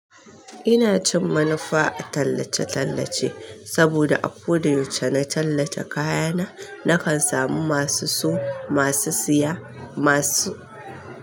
Ina cin manufa a tallace-tallace saboda a koda yauce na tallace kayana, nakan samu masu so, masu siya, masu.